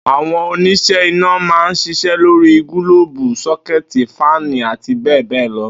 Àwo̩n onís̩é̩ iná máa ń s̩is̩é̩ lórí gílóòbù, só̩ké̩è̩tì, fáànì, àti bé̩è̩ bé̩è̩ lo